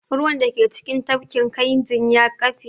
Ruwan da ke cikin tafkin kayinji ya ƙafe